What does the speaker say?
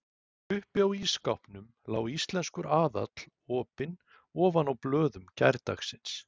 Uppi á ísskápnum lá Íslenskur aðall opinn ofan á blöðum gærdagsins.